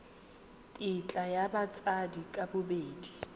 tetla ya batsadi ka bobedi